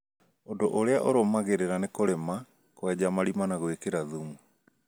Ũndũ ũrĩa ũrumagĩrĩra nĩ kũrĩma, kwenja marima na gwĩkĩra thumu